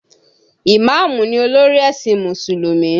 Ìmáàmù ni olórí ẹ̀sìn Mùsùlùmí